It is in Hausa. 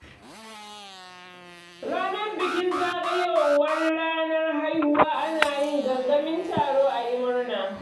Ranar bikin zagayowar ranar haihuwa ana yi gangamin taro ayi murna.